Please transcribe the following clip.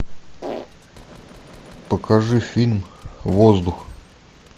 покажи фильм воздух